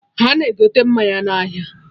Ana egote mmanya na ahịa